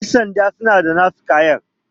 yansanda suna da nasu kayan